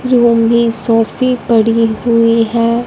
Jewellery सोफी पड़ी हुई है।